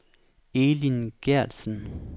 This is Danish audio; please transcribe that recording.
Elin Geertsen